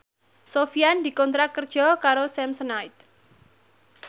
Sofyan dikontrak kerja karo Samsonite